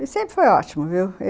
E sempre foi ótimo, viu?